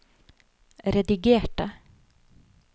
redigerte